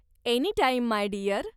Anytime my Deere.